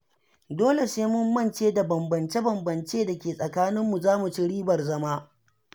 Dole sai mun mance da bambance-bambance da ke tsakaninmu, za mu ci ribar zama.